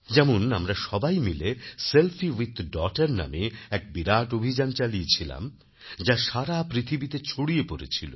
যেমন আমরা সবাই মিলে সেলফি উইথ ডটার নামে এক বিরাট অভিযান চালিয়েছিলাম যা সারা পৃথিবীতে ছড়িয়ে পড়েছিল